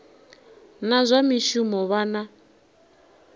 na zwa mishumo vha na